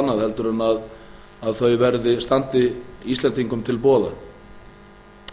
annað en þau standi íslendingum til boða